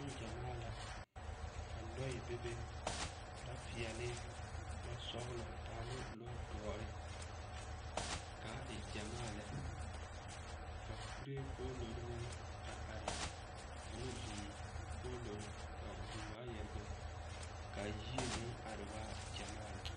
Neŋgyɛmaa la, ka lɔɛ bebe, lɔ-peɛle, lɔ-sɔgelɔ ane lɔ-doɔre k'a e gyɛmaa lɛ ka kuree poolori meŋ a are ane vūū poolori ka vūū waayare bebe, ka yie meŋ are waa gyɛmaa lɛ.